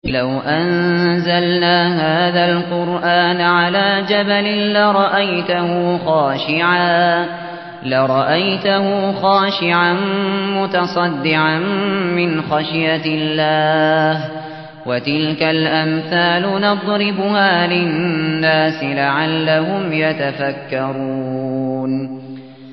لَوْ أَنزَلْنَا هَٰذَا الْقُرْآنَ عَلَىٰ جَبَلٍ لَّرَأَيْتَهُ خَاشِعًا مُّتَصَدِّعًا مِّنْ خَشْيَةِ اللَّهِ ۚ وَتِلْكَ الْأَمْثَالُ نَضْرِبُهَا لِلنَّاسِ لَعَلَّهُمْ يَتَفَكَّرُونَ